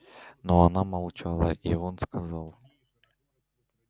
но она молчала и он сказал